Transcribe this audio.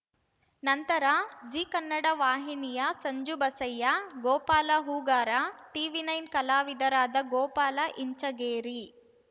ನಂತರ ಜೀ ಕನ್ನಡ ವಾಹಿನಿಯ ಸಂಜು ಬಸಯ್ಯ ಗೋಪಾಲ ಹೂಗಾರ ಟಿವಿನೈನ್ ಕಲಾವಿದರಾದ ಗೋಪಾಲ ಇಂಚಗೇರಿ